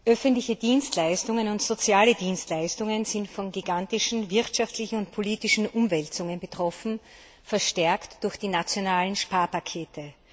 Öffentliche Dienstleistungen und soziale Dienstleistungen sind von gigantischen wirtschaftlichen und politischen Umwälzungen betroffen, verstärkt durch die nationalen Sparpakete.